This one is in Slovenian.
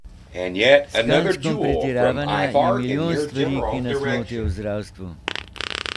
S kančkom pretiravanja je milijon stvari, ki nas motijo v zdravstvu.